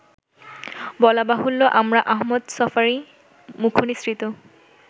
বলাবাহুল্য আমরা আহমদ ছফারই মুখনিসৃত